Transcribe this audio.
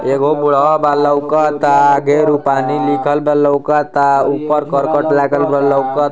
एगो बुढ़वा बा लउकता। लिखल बा लउकता। ऊपर करकट लागल बा लऊकत--